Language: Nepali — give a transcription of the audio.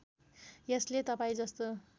यसले तपाईँ जस्तो